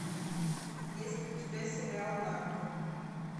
есть ли у тебя сериал нарко